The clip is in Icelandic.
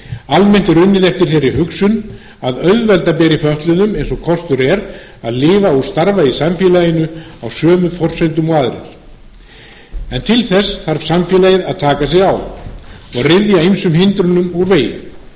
almennt er unnið eftir þeirri hugsun að auðvelda beri fötluðum eins og kostur er að lifa og starfa í samfélaginu á sömu forsendum og aðrir en til þess þarf samfélagið að taka sig á og ryðja ýmsum hindrunum úr vegi enn er því miður